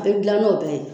A bɛ dilan n'o bɛɛ ye